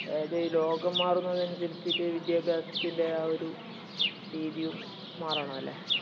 അത് ഈ ലോകം മാറുന്നതിനനുസരിച്ചിട്ട് വിദ്യാഭ്യാസത്തിന്റെ ഒരു രീതിയും മാറണംല്ലേ?